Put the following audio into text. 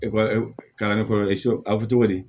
kalanni fɔlɔ aw bɛ cogo di